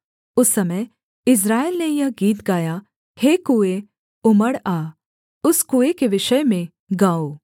उस समय इस्राएल ने यह गीत गाया हे कुएँ उमड़ आ उस कुएँ के विषय में गाओ